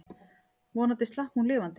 Vonandi slapp hún lifandi.